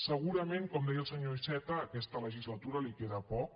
segurament com deia el senyor iceta a aquesta legislatura li queda poc